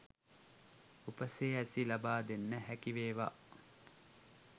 උපසිරැසි ලබාදෙන්න හැකිවේවා